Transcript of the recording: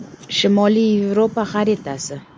Shimoliy Yevropa xaritasi.